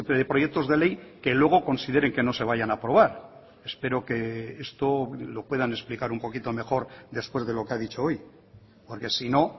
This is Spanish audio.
de proyectos de ley que luego consideren que no se vayan a aprobar espero que esto lo puedan explicar un poquito mejor después de lo que ha dicho hoy porque sino